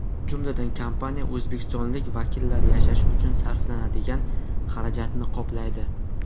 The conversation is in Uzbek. Jumladan, kompaniya O‘zbekistonlik vakillar yashashi uchun sarflanadigan xarajatni qoplaydi.